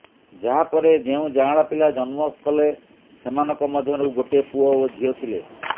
ଯାହା ପରେ ଯେଉଁ ଯାଆଁଳା ପିଲା ଜନ୍ମ କଲେ ସେମାନଙ୍କ ମଧ୍ୟରୁ ଗୋଟେ ପୁଅ ଓ ଝିଅ ଥିଲେ